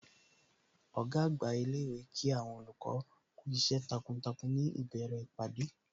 Ọ̀gá àgbà ilé ìwé Kí àwọn olùkọ́ kú iṣẹ́ takuntakun ní ìbẹ̀rẹ̀ ìpàdé